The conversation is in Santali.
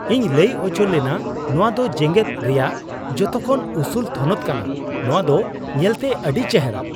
ᱤᱧ ᱞᱟᱹᱭ ᱚᱪᱚᱞᱮᱱᱟ ᱱᱚᱣᱟ ᱫᱚ ᱡᱮᱜᱮᱫ ᱨᱮᱭᱟᱜ ᱡᱚᱛᱚᱠᱷᱚᱱ ᱩᱥᱩᱞ ᱛᱷᱚᱱᱚᱛ ᱠᱟᱱᱟ ᱾ ᱱᱚᱣᱟ ᱫᱚ ᱧᱮᱞᱛᱮ ᱟᱹᱰᱤ ᱪᱮᱨᱦᱟ !